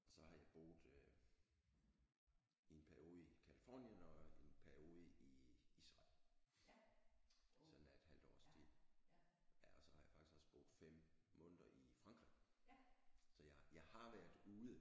Og så har jeg boet i en periode i Californien og en periode i Israel sådan af et halvt års tid ja og så har jeg faktisk også boet 5 måneder i Frankrig så jeg jeg har været ude